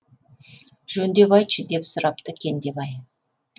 жөндеп айтшы деп сұрапты кендебай